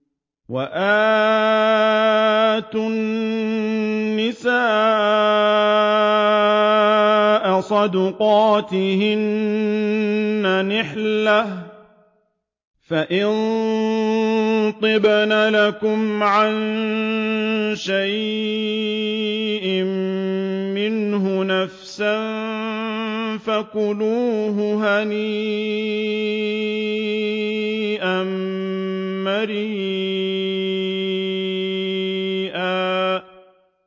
وَآتُوا النِّسَاءَ صَدُقَاتِهِنَّ نِحْلَةً ۚ فَإِن طِبْنَ لَكُمْ عَن شَيْءٍ مِّنْهُ نَفْسًا فَكُلُوهُ هَنِيئًا مَّرِيئًا